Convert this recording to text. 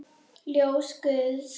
Ljós guðs.